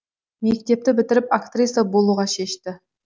мектепті бітіріп актриса болуға шешті